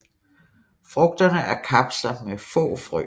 Frugterne er kapsler med få frø